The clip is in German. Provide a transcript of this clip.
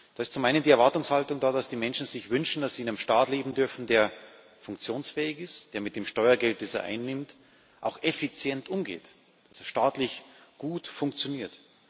Da ist zum einen die Erwartungshaltung da, dass die Menschen sich wünschen, dass sie in einem Staat leben dürfen, der funktionsfähig ist, der mit dem Steuergeld, das er einnimmt, auch effizient umgeht, dass er staatlich gut funktioniert.